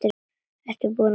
Þú ert búinn að tapa